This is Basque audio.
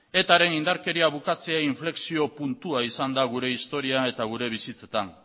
etaren indarkeria bukatzea inflexio puntua izan da gure historia eta gure bizitzetan